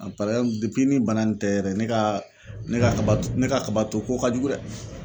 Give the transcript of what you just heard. ni bana nin tɛ yɛrɛ ne ka ne ka ne ka kabato ko ka jugu dɛ.